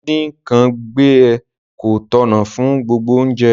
Díndín nkan gbẹ ko tọ̀nà fun gbogbo ounje